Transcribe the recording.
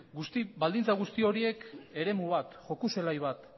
baldintza guzti horiek eremu bat joko zelai bat